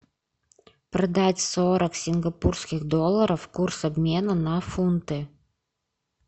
продать сорок сингапурских долларов курс обмена на фунты